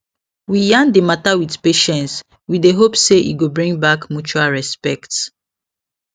we yarn d mata with patience we dey hope say e go bring back mutual respect